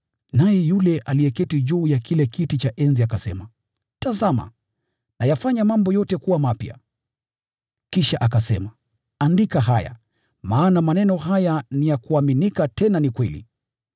Naye yule aliyeketi juu ya kile kiti cha enzi akasema, “Tazama, nayafanya mambo yote kuwa mapya!” Kisha akasema, “Andika haya, maana maneno haya ni ya kuaminika tena ni kweli.”